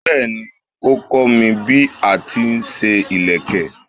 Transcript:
Bẹ́ẹ̀ni, ó kọ́ mi bí a ti ń ṣe ìlẹ̀kẹ̀.